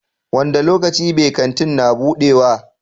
Wanda lokaci be Kantin na budewa?